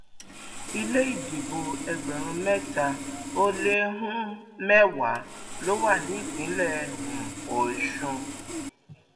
ilé ìdìbò ẹgbẹrún mẹta ó lé um mẹwàá ló wà nípìnlẹ um ọsùn